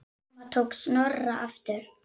Mamma tók Snorra aftur.